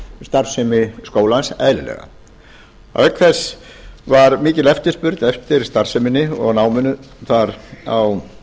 starfsemi skólans eðlilega auk þess var mikil eftirspurn eftir starfseminni og náminu þar á